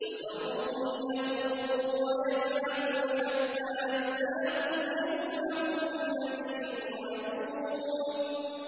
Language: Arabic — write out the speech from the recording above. فَذَرْهُمْ يَخُوضُوا وَيَلْعَبُوا حَتَّىٰ يُلَاقُوا يَوْمَهُمُ الَّذِي يُوعَدُونَ